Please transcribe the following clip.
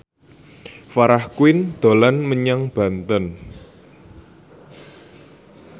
Farah Quinn dolan menyang Banten